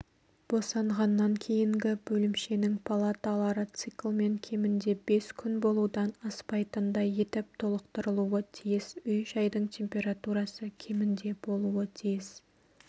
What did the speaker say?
босанғаннан кейінгі бөлімшенің палаталары циклмен кемінде бес күн болудан аспайтындай етіп толықтырылуы тиіс үй-жайдың температурасы кемінде болуы тиіс